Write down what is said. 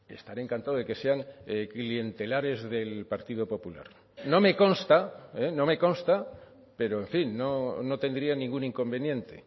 estaré encantado de que sean clientelares del partido popular no me consta no me consta pero en fin no tendría ningún inconveniente